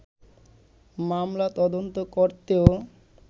মামলা তদন্ত করতেও